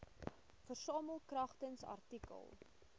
versamel kragtens artikel